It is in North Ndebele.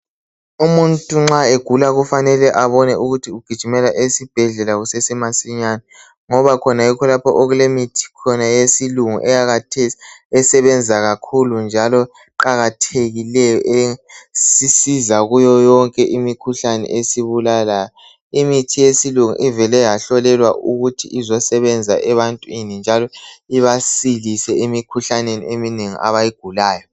Umuntu ma egula kufanele abona ikuthi ujigimela esibhedlela ngoba kulemithi yesilungi eyakhathesi esebenza kakhulu njalo eqakathekileyo esisiza ngayo yonke imikhuhlane esibulalayo, imithi yesilungu ivele yahlolela ukuthi izosebenza ebantwini njalo ibasilise emkhuhlaneni eminengi abayigulayo